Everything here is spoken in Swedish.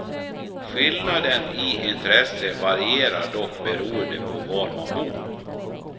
Skillnaden i intresse varierar dock beroende på var man bor.